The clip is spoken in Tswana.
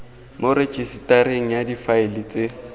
mo rejisetareng ya difaele tse